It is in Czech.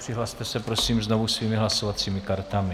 Přihlaste se prosím znovu svými hlasovacími kartami.